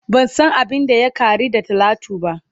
Ban san abin da ya Kari da talatu ba.